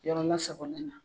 Yɔrɔ lasagolen na